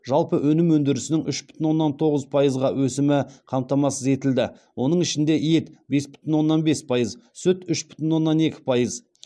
жалпы өнім өндірісінің үш бүтін оннан тоғыз пайызға өсімі қамтамасыз етілді оның ішінде ет бес бүтін оннан бес пайыз сүт үш бүтін оннан екі пайыз